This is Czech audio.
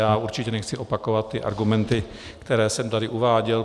Já určitě nechci opakovat ty argumenty, které jsem tady uváděl.